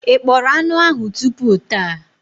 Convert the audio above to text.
Ị kpọrọ anụ ahụ tupu taa?